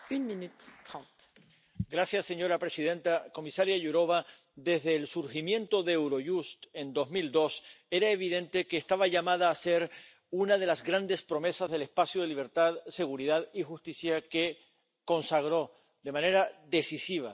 Señora presidenta, comisaria Jourová, desde el surgimiento de Eurojust en 2002, era evidente que esta agencia estaba llamada a ser una de las grandes promesas del espacio de libertad, seguridad y justicia que consagró de manera decisiva el Tratado de Lisboa en